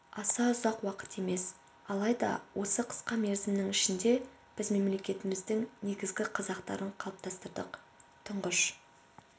аса ұзақ уақыт емес алайда осы қысқа мерзімнің ішінде біз мемлекетіміздің негізгі қазықтарын қалыптастырдық тұңғыш